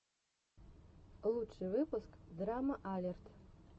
лучший выпуск драма алерт